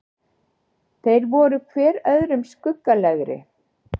Þeir voru hver öðrum skuggalegri.